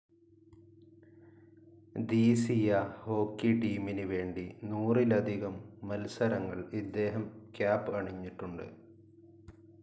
ധീസീയ hockey ടീമിന് വേണ്ടി നൂറിലധികം മത്സരങ്ങൾ ഇദ്ദേഹം ക്യാപ്‌ അണിഞ്ഞിട്ടുണ്ട്.